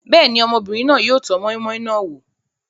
Bẹ́ẹ̀ ni, ọmọbìnrin náà yóò tọ́ moi-moi náà wò.